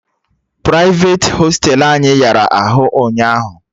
Prịfeti hostelu anyị yara arụ ụnyaahụ